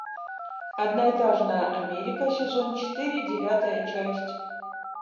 одноэтажная америка сезон четыре девятая часть